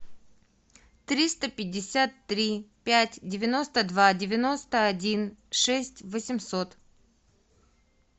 триста пятьдесят три пять девяносто два девяносто один шесть восемьсот